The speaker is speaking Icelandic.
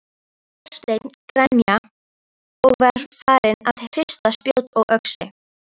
Þorsteinn grenja og var farinn að hrista spjót og öxi.